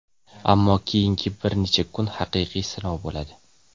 ammo keyingi bir necha kun haqiqiy sinov bo‘ladi.